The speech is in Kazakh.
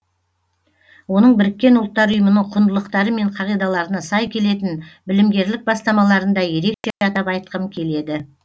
оның біріккен ұлттар ұйымының құндылықтары мен қағидаларына сай келетін білімгерлік бастамаларын да ерекше атап айтқым келеді